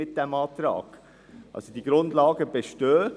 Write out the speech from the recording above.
Diese Grundlagen best ehen.